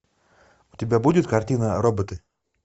у тебя будет картина роботы